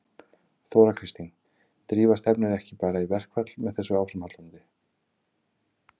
Þóra Kristín: Drífa stefnir ekki bara í verkfall með þessu áframhaldi?